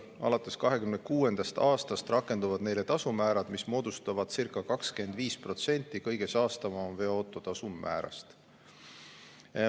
Alates 2026. aastast rakenduvad neile tasumäärad, mis moodustavad circa 25% kõige saastavama veoauto tasumäärast.